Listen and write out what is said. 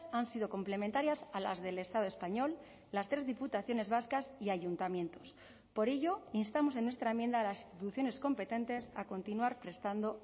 han sido complementarias a las del estado español las tres diputaciones vascas y ayuntamientos por ello y instamos en nuestra enmienda a las instituciones competentes a continuar prestando